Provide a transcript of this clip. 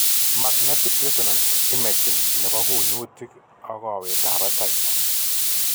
Magnetic resonance imaging nebo kunyutik ak kowet ab batai